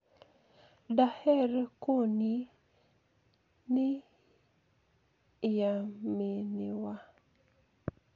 "Daher koniyi niyaminiwa.